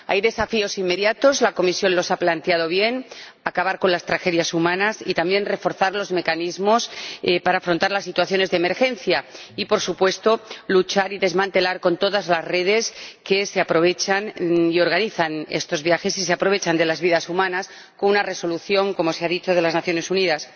Hay desafíos inmediatos. La Comisión los ha planteado bien acabar con las tragedias humanas, reforzar los mecanismos para afrontar las situaciones de emergencia y, por supuesto, luchar contra este fenómeno y desmantelar todas las redes que organizan estos viajes y se aprovechan de las vidas humanas, mediante una resolución, como se ha dicho, de las Naciones Unidas.